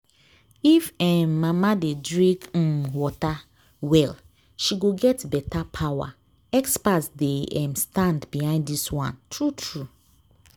if um mama dey drink um water well she go get better power. experts dey um stand behind this one… true-true.